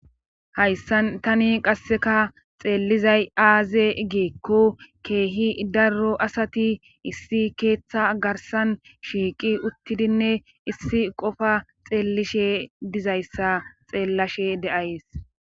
hayssan tani qasseka xeellizay aaze geekko keehi daro asati issi keeththa garsan shiiqi uttidinne issi qofa xeellishe dizayssa xeellashe deays